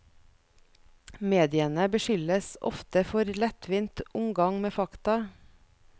Mediene beskyldes ofte for lettvint omgang med fakta.